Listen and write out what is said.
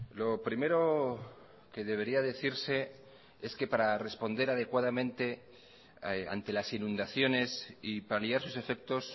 lo primero que debería decirse es que para responder adecuadamente ante las inundaciones y paliar sus efectos